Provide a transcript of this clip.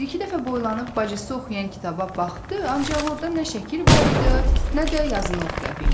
O bir-iki dəfə boylanıb bacısı oxuyan kitaba baxdı, ancaq orda nə şəkil var idi, nə də yazın oxuya bildi.